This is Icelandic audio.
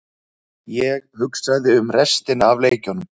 Ég hugsaði um restina af leikjunum.